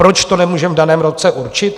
Proč to nemůžeme v daném roce určit?